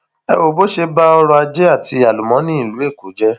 ẹ wo bó ṣe ba ọrọajé àti àlùmọọnì ìlú èkó jẹ